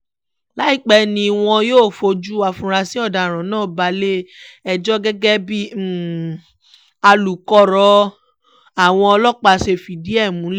láìpẹ́ ni wọn yóò fojú àfúráṣí ọ̀daràn náà balẹ̀-ẹjọ́ gẹ́gẹ́ bí alukoro àwọn ọlọ́pàá ṣe fìdí ẹ̀ múlẹ̀